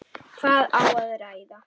Hvað á að ræða?